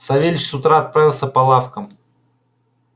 савельич с утра отправился по лавкам